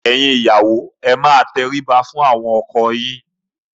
Ẹ̀yin ìyàwó ẹ máa tẹrí ba fún àwọn ọkọ yín!